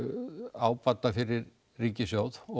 ábata fyrir ríkissjóð og